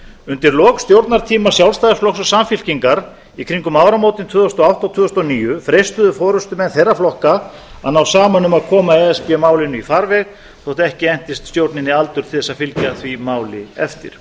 undir lok stjórnartíma sjálfstæðisflokks og samfylkingar í kringum áramótin tvö þúsund og átta tvö þúsund og níu freistuðu forustumenn þeirra flokka að ná saman um að koma e s b málinu í farveg þótt ekki entist stjórninni aldur til að fylgja því máli eftir